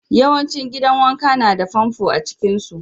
Yawancin gidan wanka na da famfo a cikin su.